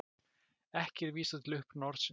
Ekki er vísað til uppruna orðsins.